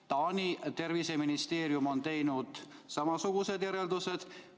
Taani terviseministeerium on teinud samasugused järeldused.